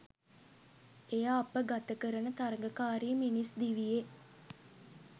එය අප ගතකරන තරගකාරී මිනිස් දිවියේ